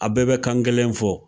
A bɛɛ bɛ kan kelen fɔ